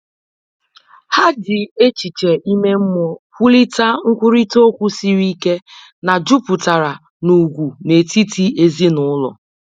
Ha ji echiche ime mmụọ wulite nkwurịta okwu siri ike na jupụtara n’ugwu n’etiti ezinụlọ